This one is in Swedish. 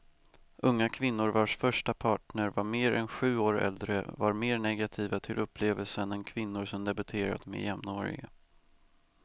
Unga kvinnor vars första partner var mer än sju år äldre var mer negativa till upplevelsen än kvinnor som debuterat med jämnåriga.